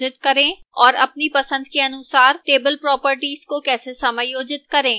और अपनी पसंद के अनुसार table properties को कैसे समायोजित करें